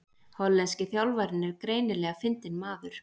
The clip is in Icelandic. Hollenski þjálfarinn er greinilega fyndinn maður